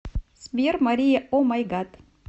сбер мария омайгад